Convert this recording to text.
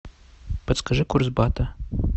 подскажи курс бата